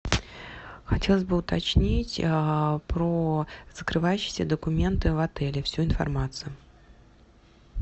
хотелось бы уточнить про закрывающиеся документы в отеле всю информацию